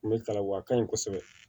N bɛ kalan wa ka ɲi kosɛbɛ